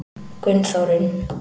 Gunnþórunn